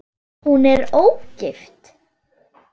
Hún er ógift.